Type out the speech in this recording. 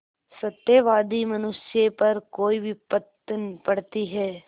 सत्यवादी मनुष्य पर कोई विपत्त पड़ती हैं